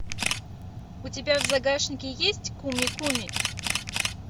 у тебя в загашнике есть куми куми